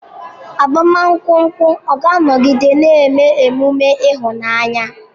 Agbamakwụkwọ ọ̀ ga-anọgide na-eme emume ịhụnanya?